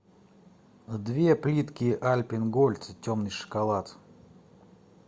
две плитки альпен гольд темный шоколад